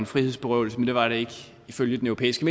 frihedsberøvelse men det var der ikke ifølge den europæiske